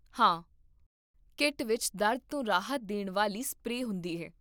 ਹਾਂ, ਕਿੱਟ ਵਿੱਚ ਦਰਦ ਤੋਂ ਰਾਹਤ ਦੇਣ ਵਾਲੀ ਸਪਰੇਅ ਹੁੰਦੀ ਹੈ